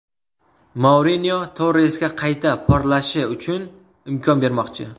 Mourinyo Torresga qayta porlashi uchun imkon bermoqchi.